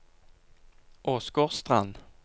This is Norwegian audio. Åsgårdstrand